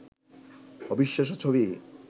অবিশ্বাস্য ছবি